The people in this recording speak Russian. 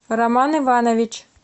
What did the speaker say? роман иванович